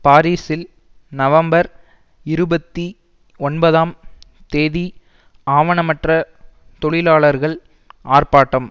பாரிஸில் நவம்பர் இருபத்தி ஒன்பதாம் தேதி ஆவணமற்ற தொழிலாளர்கள் ஆர்ப்பாட்டம்